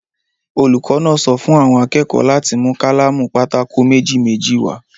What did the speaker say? Olùkọ́ náà sọ fún àwọn akẹ́kọ̀ọ́ láti mú kálámù pátákò méjì-méjì wá.